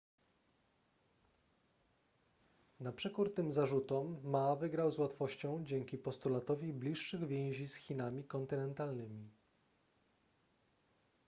na przekór tym zarzutom ma wygrał z łatwością dzięki postulatowi bliższych więzi z chinami kontynentalnymi